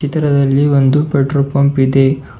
ಚಿತ್ತಿರದಲ್ಲಿ ಒಂದು petrol pump ಇದೆ.